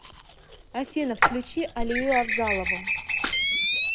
афина включи алию авзалову